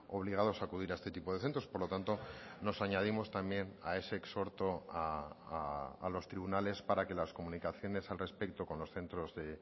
obligados a acudir a este tipo de centros por lo tanto nos añadimos también a ese exhorto a los tribunales para que las comunicaciones al respecto con los centros de